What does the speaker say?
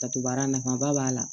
Datugubaara nafaba b'a la